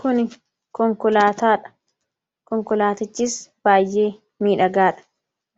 Kuni konkolaataadha. Konkolaatichis baay'ee miidhagaadha!